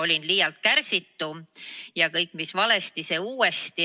Olin enne liialt kärsitu ja kõik, mis valesti, see uuesti.